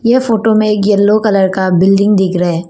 ये फोटो में एक येलो कलर का बिल्डिंग दिख रहा है।